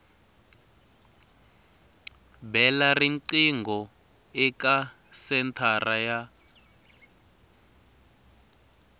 bela riqingho eka senthara ya